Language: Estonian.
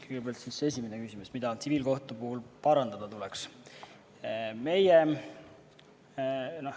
Kõigepealt esimene küsimus: mida tsiviilkohtu puhul parandada tuleks?